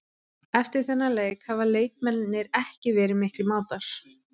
Eftir þennan leik hafa leikmennirnir ekki verið miklir mátar.